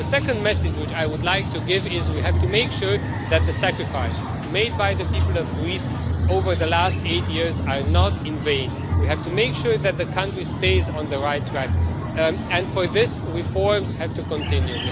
The second message which I would like to give is that we have to make sure that the sacrifices made by the people of Greece over the last eight years are not in vain. We have to make sure that the country stays on the right track, and for this reforms have to continue.